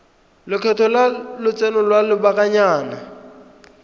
lekgetho la lotseno lwa lobakanyana